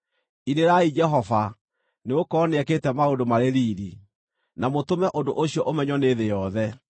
Inĩrai Jehova, nĩgũkorwo nĩekĩte maũndũ marĩ riiri; na mũtũme ũndũ ũcio ũmenywo nĩ thĩ yothe.